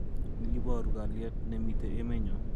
N iboru kalyet ne mitei emenyo.